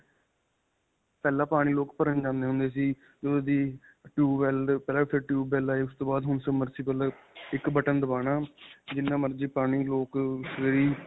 ਪਹਿਲਾਂ ਪਾਣੀ ਲੋਕ ਭਰਨ ਜਾਂਦੇ ਹੁੰਦੇ ਸੀ ਜਦੋਂ ਦੇ tube well ਪਹਿਲਾਂ tube well ਆਏ ਫਿਰ ਉਸ ਤੋਂ ਬਾਅਦ ਹੁਣ submersible ਇੱਕ ਬਟਨ ਦੁਬਾਨਾ, ਜਿੰਨਾ ਮਰਜੀ ਪਾਣੀ ਲੋਕ ਸਵੇਰੇ ਹੀ.